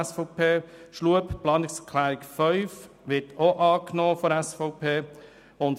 Die Planungserklärung 5 von Grossrat Schlup wird ebenfalls angenommen.